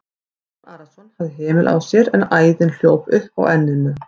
Jón Arason hafði hemil á sér en æðin hljóp upp á enninu.